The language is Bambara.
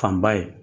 Fanba ye